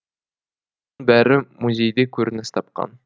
бәрі музейде көрініс тапқан